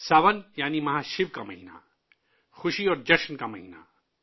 ساون کا مطلب ہے ،مہاشیو کا مہینہ، تہواروں اور جوش کا مہینہ